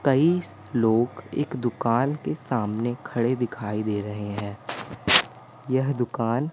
कई लोग एक दुकान के सामने खड़े दिखाई दे रहे हैं यह दुकान--